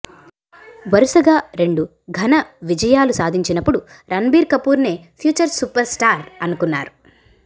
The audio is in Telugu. వరుసగా రెండు ఘన విజయాలు సాధించినప్పుడు రణ్భీర్ కపూర్నే ఫ్యూచర్ సూపర్స్టార్ అనుకున్నారు